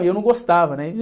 E eu não gostava, né?